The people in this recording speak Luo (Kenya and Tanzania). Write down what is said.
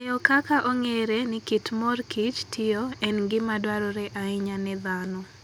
Ng'eyo kaka ong'ere ni kit mor kich tiyo, en gima dwarore ahinya ne dhano.